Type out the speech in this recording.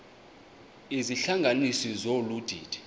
izihlanganisi zolu didi